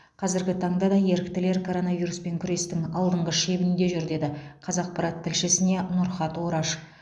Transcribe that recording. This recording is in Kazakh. қазіргі таңда да еріктілер коронавируспен күрестің алдыңғы шебінде жүр деді қазақпарат тілшісіне нұрхат ораш